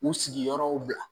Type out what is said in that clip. U sigiyɔrɔ bila